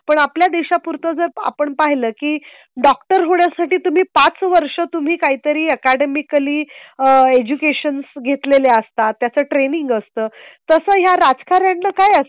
पण आपल्या देशा पुरता जर आपण पाहिलं की डॉक्टर होण्यासाठी तुम्ही पाच वर्ष तुम्ही काही तरी अकॅडमीकली एज्युकेशन घेतलेले असतात. त्याच ट्रेनिंग असतं तसं या राजकारण्यांचे काय असतं.